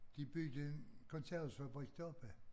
De byggede en konservesfabrik deroppe